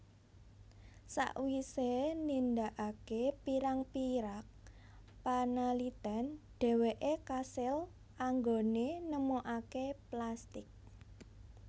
Sawise nindakake pirang pirag panaliten dheweke kasil anggone nemokake plastik